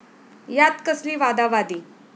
यात कसली वादावादी!